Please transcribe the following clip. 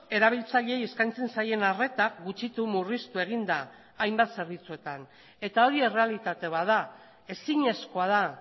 erabiltzaileei eskaintzen zaien arreta gutxitu murriztu egin da hainbat zerbitzuetan eta hori errealitate bat da ezinezkoa da